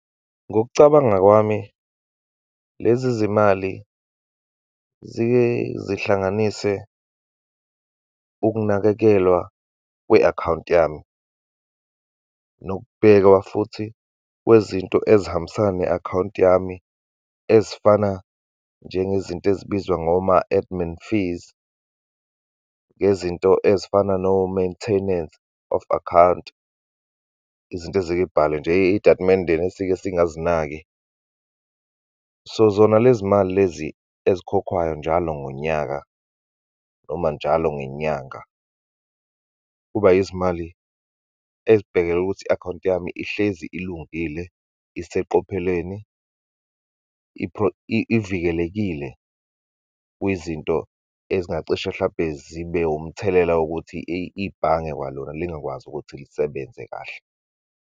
Ngokucabanga kwami, lezi zimali zike zihlanganise ukunakekelwa kwe-akhawunti yami, nokubhekwa futhi kwezinto ezihambisana ne akhawunti yami ezifana, njengezinto ezibizwa ngoma-admin fees, ngezinto ezifana no-maintanance of account, izinto ezike yibhalwe nje eyitatimendeni esike singazinaki. So, zona lezi mali lezi ezikhokhwayo njalo ngonyaka, noma njalo ngenyanga, kuba yizimali ezibhekele ukuthi i-akhawunti yami ihlezi ilungile, iseqophelweni, ivikelekile kwizinto ezingacishe, hlampe zibe umthelela wokuthi ibhange kwalona lingakwazi ukuthi lisebenze kahle.